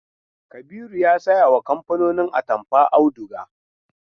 Kabiru ya sayawa kamfanin atamfa auduga.